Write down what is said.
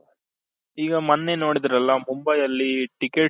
ಈಗ ಮೊನ್ನೆ ನೋಡಿದ್ರಲ್ಲ ಮುಂಬೈಯಲ್ಲಿ tickets